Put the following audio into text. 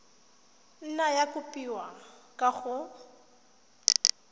nna ya kopiwa kwa go